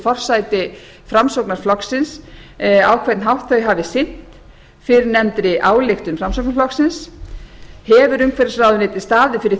forsæti framsóknarflokksins á hvern hátt þau hafi sinnt fyrrnefndri ályktun framsóknarflokksins hefur umhverfisráðuneytið staðið fyrir